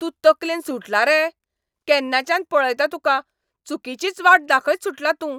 तूं तकलेन सुटलां रे? केन्नाच्यान पळयता तुका, चुकिचीच वाट दाखयत सुटलां तूं.